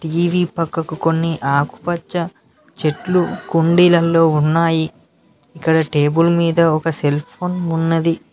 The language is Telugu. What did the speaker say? టీ_వి పక్కకు కొన్ని ఆకుపచ్చ చెట్లు కుండీలల్లో ఉన్నాయి ఇక్కడ టేబుల్ మీద ఒక సెల్ ఫోన్ ఉన్నది.